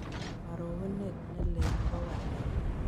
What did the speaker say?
Karogunet ne lel ne po walet